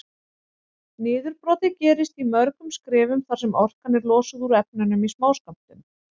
Niðurbrotið gerist í mörgum skrefum þar sem orkan er losuð úr efnunum í smáskömmtum.